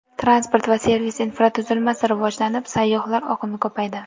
Transport va servis infratuzilmasi rivojlanib, sayyohlar oqimi ko‘paydi.